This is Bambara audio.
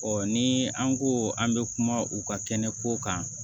ni an ko an bɛ kuma u ka kɛnɛ ko kan